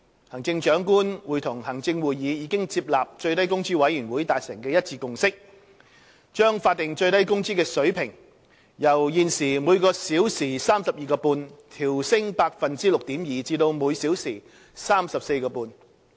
行政長官會同行政會議已接納最低工資委員會達成的一致共識，將法定最低工資水平由現時每小時 32.5 元調升 6.2% 至每小時 34.5 元。